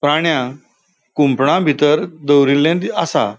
प्राण्यांक कुंपणाबितर दोवरीले दि आसा.